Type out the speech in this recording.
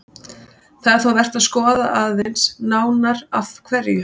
Það er þó vert að skoða aðeins nánar af hverju.